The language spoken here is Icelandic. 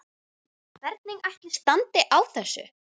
Hvernig ætli standi á þessu?